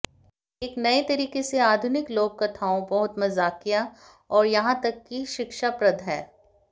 एक नए तरीके से आधुनिक लोक कथाओं बहुत मजाकिया और यहां तक कि शिक्षाप्रद है